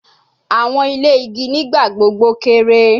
Awọn ile igi nigbagbogbo kere